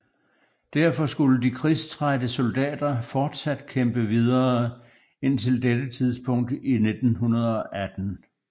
Derfor skulle de krigstrætte soldater fortsat kæmpe videre indtil dette tidspunkt i 1918